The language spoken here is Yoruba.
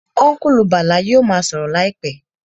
Ọ́nkùlù Bàlá yóò ma sọ̀rọ̀ láìpẹ́